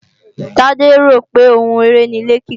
Tade rò pé oun eré ni ilé-kíkọ́